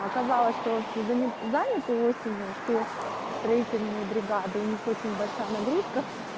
оказалось что он занят и осенью что строительная бригада у них очень большая нагрузка